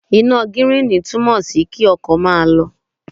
Iná gíríìnì túmọ̀ sí kí ọkọ̀ máa lọ.